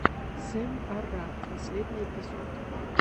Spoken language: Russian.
сэм арраг последний эпизод